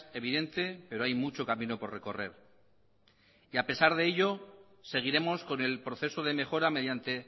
evidente pero hay mucho camino por recorrer y a pesar de ello seguiremos con el proceso de mejora mediante